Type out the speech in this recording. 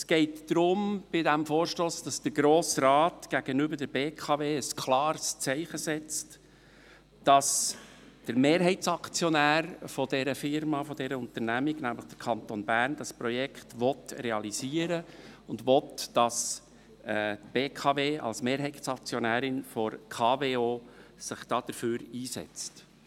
Es geht bei diesem Vorstoss darum, dass der Grosse Rat gegenüber der BKW AG ein klares Zeichen setzt, dass der Mehrheitsaktionär dieser Unternehmung, nämlich der Kanton Bern, das Projekt realisieren will und will, dass die BKW als Mehrheitsaktionärin sich bei der Kraftwerke Oberhasli AG (KWO) dafür einsetzt.